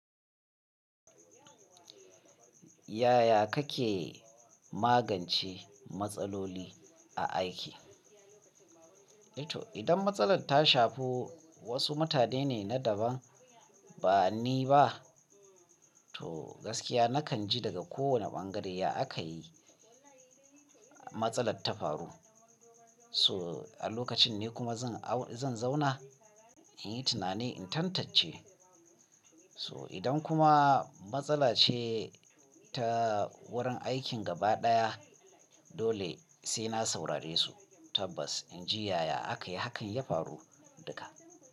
Yaya kake magance matsaloli a aiki? Eh to idan matsalar ta shafi wasu mutane ne na daban ba ni ba, to gaskiya nakan ji daga kowane bangare ya aka yi matsalar ta faru. So a lokacin ni kuma zan, zan zauna in yi tunani in tantance. So idan kuma matsala ce ta wurin aikin gaba ɗaya, dole sai na saurare su tabbas inji yaya aka yi hakan ya faru duka.